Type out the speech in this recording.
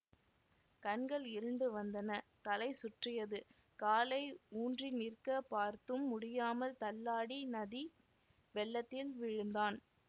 கண்கள் இருண்டு வந்தன தலை சுற்றியது காலை ஊன்றி நிற்கப் பார்த்தும் முடியாமல் தள்ளாடி நதி வெள்ளத்தில் விழுந்தான்